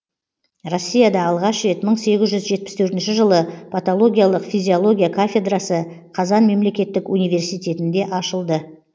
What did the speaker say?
россияда алғаш рет мың сегіз жүз жетпіс төртінші жылы патологиялық физиология кафедрасы қазан мемлекеттік университетінде ашылды